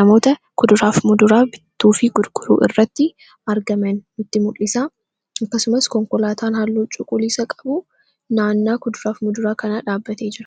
namoota kuduraaf muduraa bittuu fi gudguruu irratti argaman nutti mul'isa akkasumas konkolaataan haalluu cuquliisa qabu naannaa kuduraaf muduraa kanaa dhaabbatee jira.